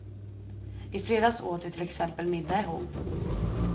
I fredags åt vi till exempel middag ihop.